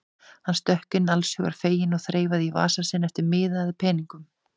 Hann stökk inn allshugar feginn og þreifaði í vasa sinn eftir miða eða peningum.